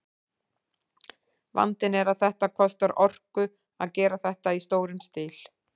Vandinn er að það kostar orku að gera þetta í stórum stíl.